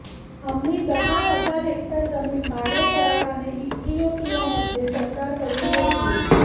आम्ही दहा हजार हेक्टर जमीन भाडेकराराने इथियोपियामध्ये सरकारकडून घेतली